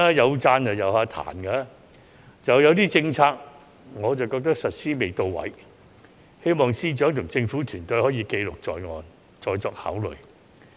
有讚當然有彈，我認為司長有些政策實施未到位，希望司長及政府團隊可以記錄在案，再作考慮。